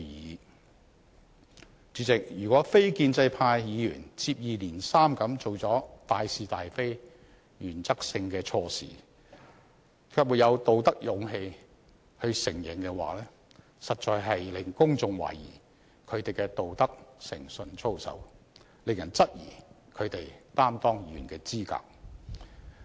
代理主席，如果非建制派議員接二連三做出關乎大是大非、原則性的錯事，卻沒有道德勇氣承認，實在令公眾懷疑他們的道德誠信操守，令人質疑他們擔當議員的資格。